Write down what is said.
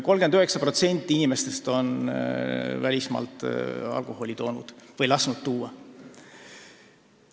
39% inimestest on välismaalt alkoholi toonud või lasknud tuua.